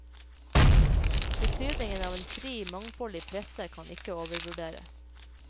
Betydningen av en fri, mangfoldig presse kan ikke overvurderes.